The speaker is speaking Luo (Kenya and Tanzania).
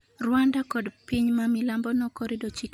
rwanda kod piny mamilambo nokorido chike mag wuok oko